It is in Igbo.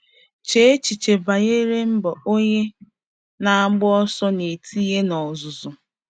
Chee echiche banyere mbọ onye na-agba ọsọ na-etinye n'ọzụzụ.